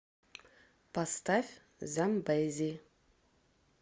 поставь замбези